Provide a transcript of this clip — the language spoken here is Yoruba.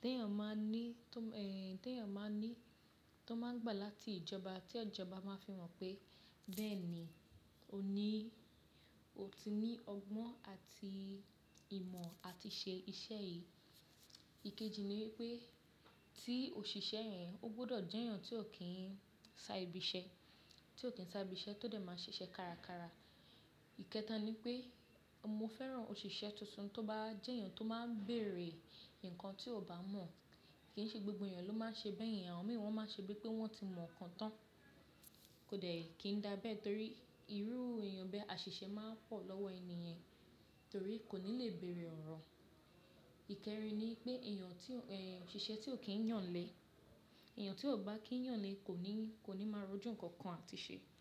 tí èèyàn máa ní, tó, ẹ́, tí èèyàn máa ní, tó máa ń gbà láti ìjọba tí ìjọba máa fi mọ̀ pé bẹ́ẹ̀ ni, ó ní, ó ti ní ọgbọ́n àti ìmọ̀ àti ṣe iṣẹ́ yìí. Ikeji ni pé tí òṣìṣẹ́ yẹn, ó gbọ́dọ̀ jẹ́ èèyàn tí ò kí ń sa ibi iṣẹ́, tí ò kí ń sa ibi iṣẹ́ tó dẹ̀ máa ṣiṣẹ́ kárakára. Ikẹta ni pé mo fẹ́ràn òṣìṣẹ́ tuntun tó bá jẹ́ èèyàn tó máa ń bèèrè nǹkan tí ò bá mọ̀. Kì í ṣe gbogbo èèyàn ló máa ń ṣe bẹ́ẹ̀ yen, àwọn mìíràn wọ́n máa ń ṣe bíi pé wọ́n ti mọ̀ ǹkan tán. Kò dẹ̀, kì í dàbe torí irú èèyàn bẹ́ àṣìṣe máa ń pọ̀ lọ́wọ́ ènìyen torí kò ní le bèèrè ọ̀rọ̀. Íkẹrin ni pé èèyàn tí ò, ẹ́, òṣìṣẹ́ tí ò kí ń yàn lẹ̀, èèyàn tí ò bá kí ń yàn lẹ̀ kò ní, kò ní máa rojú nǹkan kan àti ṣe.